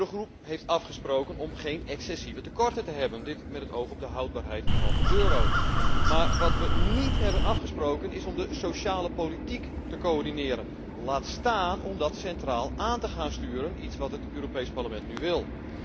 De eurogroep heeft afgesproken om geen excessieve tekorten te hebben, dit met het oog op de houdbaarheid van de euro. Maar wat wij niet hebben afgesproken is om de sociale politiek te coördineren, laat staan om dat centraal aan te gaan sturen, iets wat het Europees Parlement nu wil.